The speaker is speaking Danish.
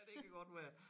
Ja det kan godt være